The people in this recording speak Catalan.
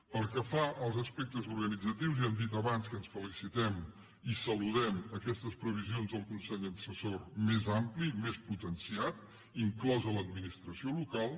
pel que fa als aspectes organitzatius ja hem dit abans que ens felicitem i saludem aquestes previsions del consell assessor més ampli més potenciat inclosa l’administració local